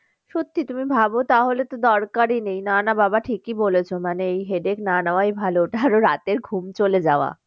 সত্যি তুমি ভাবো তাহলে তো দরকারই নেই না না বাবা ঠিকই বলেছো মানে এই headache না নেওয়াই ভালো কারো রাতের ঘুম চলে যাওয়া